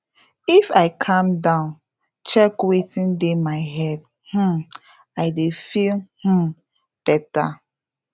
if i calm down check wetin dey my head um i dey feel um better